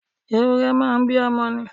Ewúrẹ́ máa ń bímọ ni.